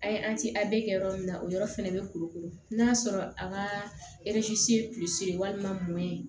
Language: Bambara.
A ye kɛ yɔrɔ min na o yɔrɔ fɛnɛ bɛ kurukuru n'a sɔrɔ a ka ye walima mɔɔ ye